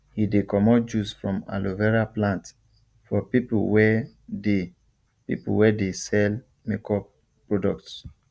he de comot juice from aloe vera plant for people wey dey people wey dey sell make up products